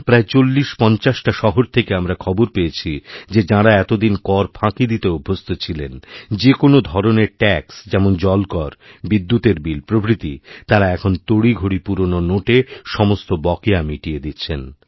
প্রায় চল্লিশপঞ্চাশটা শহর থেকে আমরাখবর পেয়েছি যে যাঁরা এতদিন কর ফাঁকি দিতে অভ্যস্ত ছিলেন যে কোনও ধরনের ট্যাক্স যেমন জলকর বিদ্যুতের বিল প্রভৃতি তাঁরা এখন তড়িঘড়ি পুরনো নোটে সমস্ত বকেয়ামিটিয়ে দিচ্ছেন